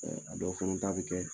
a dɔw fana t'a bɛ kɛ